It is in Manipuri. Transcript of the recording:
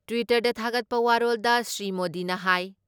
ꯇ꯭ꯋꯤꯇꯔꯗ ꯊꯥꯒꯠꯄ ꯋꯥꯔꯣꯜꯗ ꯁ꯭ꯔꯤ ꯃꯣꯗꯤꯅ ꯍꯥꯏ